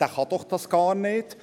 der kann dies doch gar nicht!